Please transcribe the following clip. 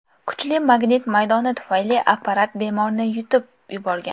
Kuchli magnit maydoni tufayli apparat bemorni yutib yuborgan.